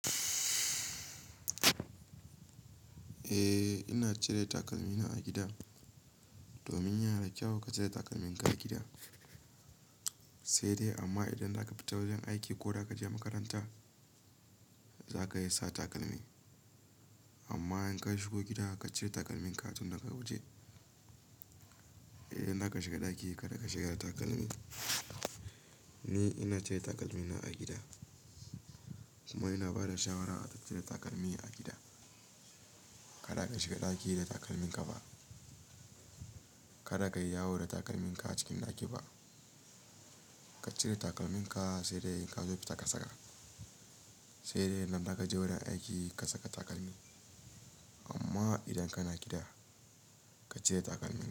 Eh, ina cire takalmi na a gida. Domin yana da kyau ka cire takalmin ka a gida. Sai dai amma idan zaka fita wajen aiki ko da ka je makaranta, za ka yi sa takalmi. Amma in ka shigo gida ka cire takalmin ka tun daga waje, idan zaka shiga ɗaki kada ka shiga da takalmi. Ni ina cire takalmi na a gida kuma ina bada shawara a cire takalmi a gida. Kada ka shiga ɗaki da takalmin ka ba. Kada ka yi yawo da takalmin ka acikin ɗaki ba. Ka cire takalmin ka sai dai in ka zo fita ka saka. Sai dai idan zaka je wajen aiki ka saka takalmi. Amma idan kana gida ka cire takalmi.